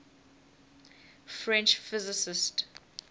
french physicists